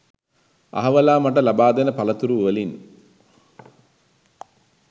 අහවලා මට ලබා දෙන පලතුරු වලින්